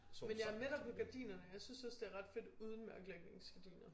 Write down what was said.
Men ja med dig på gardinerne jeg synes også det er ret fedt uden mørklægningsgardiner